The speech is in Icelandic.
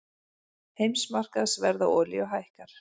Heimsmarkaðsverð á olíu hækkar